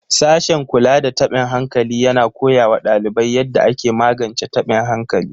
Sashen kula da tabin hankali yana koya wa ɗalibai yadda ake magance taɓin hankali.